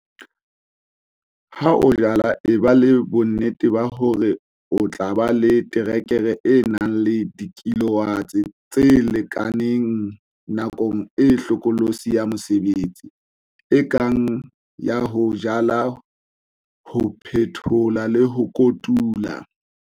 Ha o jala eba le bonnete ba hore o tla ba le terekere e nang le dikilowatts tse lekaneng nakong e hlokolosi ya mosebetsi, e kang, ya ho jala ho phethola le ho kotula.